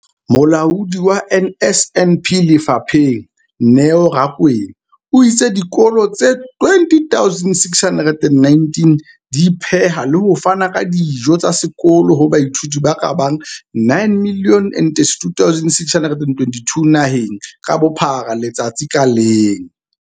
Molaodi wa NSNP lefapheng, Neo Rakwena, o itse dikolo tse 20 619 di pheha le ho fana ka dijo tsa sekolo ho baithuti ba ka bang 9 032 622 naheng ka bophara letsatsi ka leng.